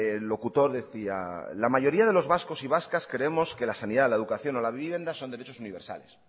el locutor decía la mayoría de los vascos y vascas creemos que la sanidad la educación o la vivienda son derechos universales